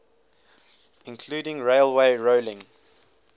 including railway rolling